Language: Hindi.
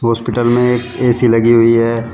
हॉस्पिटल में एक ए_सी लगी हुई है।